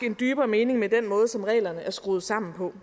en dybere mening med den måde som reglerne er skruet sammen på